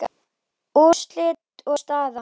Úrslit og staða